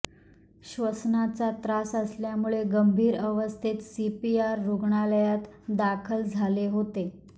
श्वसनाचा त्रास असल्यामुळे गंभीर अवस्थेत सीपीआर रुग्णालयात दाखल झाले होते